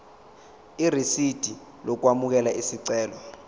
irisidi lokwamukela isicelo